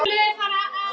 Voruð þið að koma?